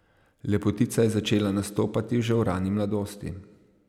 Lepotica je začela nastopati že v rani mladosti.